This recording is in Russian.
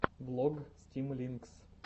влог стимлинкс